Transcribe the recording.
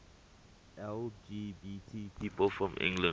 lgbt people from england